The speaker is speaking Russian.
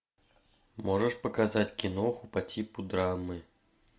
можешь показать киноху по типу драмы